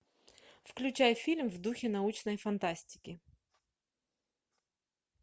включай фильм в духе научной фантастики